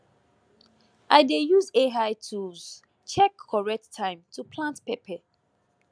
i dey use ai tools check correct time to plant pepper